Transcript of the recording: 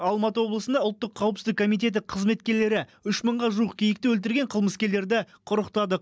алматы облысында ұлттық қауіпсіздік комитеті қызметкерлері үш мыңға жуық киікті өлтірген қылмыскерлерді құрықтады